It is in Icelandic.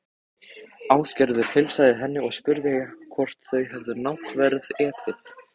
Ásgerður heilsaði henni og spurði hvort þau hefði náttverð etið.